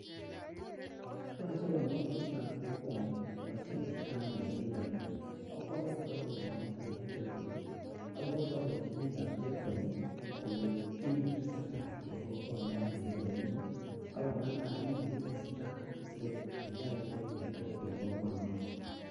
Yoche konget biikab kokwonii kocheng chito agenge neiyoni akwo bakai kompunit noton Nebo Telkom ako kwororchii bikab Telkom ,komwochi kit netesetai en kokwenoton nenenyin ak ko ngalal kit netesetai sikokaikait network en kokwet noton